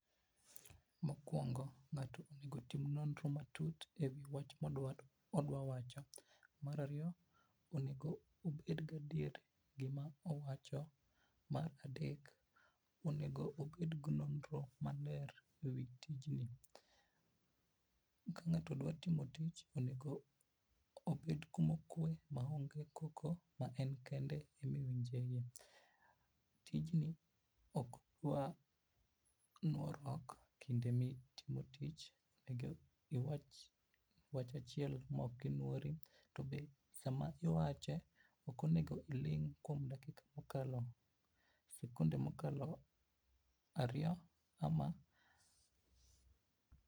Mokuongo ngato onego otim nonro matut ewi wach modwa wacho, mar ariyo onego obedgi adier gima owacho, mar adek onego obedgi nonro maler ewi tijni. Kangato dwa timo tich onego, obed kuma okwe maonge koko ma en kende ema iwinje .Tijni ok dwa nuoruok kinde ma itimo tich eka iwach wach achiel maok inuori tobe sama iwache ok onego iling kuom dakika mokalo sekond mokalo ariyo ama.